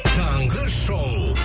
таңғы шоу